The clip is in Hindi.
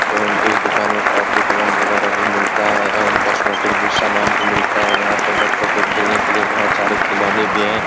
एवं इस दुकान में कॉपी कलम वगैरा भी मिलता है एवं कोस्मैंटिक भी सामान भी मिलता है और यहाँ पर बच्चों के खेलने के लिये बोहोत सारे खिलौने भी हैं।